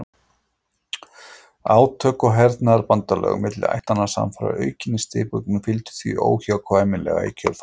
Átök og hernaðarbandalög milli ættanna samfara aukinni stigmögnun fylgdu því óhjákvæmilega í kjölfarið.